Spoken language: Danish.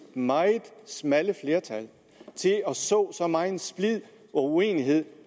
meget smalle flertal til at så så megen splid og uenighed